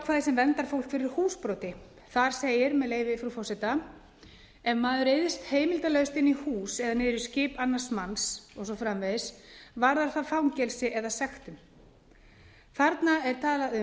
sem verndar fólk fyrir húsbroti þar segir með leyfi frú forseta ef maður ryðst heimildarlaust inn í hús eða niður í skip annars manns og svo framvegis varðar það sektum eða fangelsi þarna er talað um